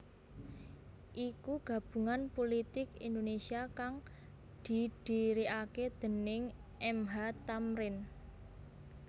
iku Gabungan Pulitik Indonesia kang didhirikaké déning M H Thamrin